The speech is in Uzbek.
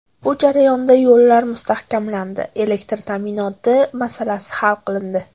Bu jarayonda yo‘llar mustahkamlandi, elektr ta’minoti masalasi hal qilindi.